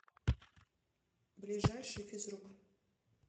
ближайший физрук